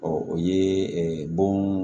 o ye bon